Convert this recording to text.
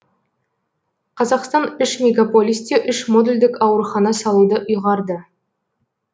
қазақстан үш мегаполисте үш модульдік аурухана салуды ұйғарды